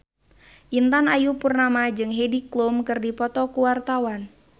Intan Ayu Purnama jeung Heidi Klum keur dipoto ku wartawan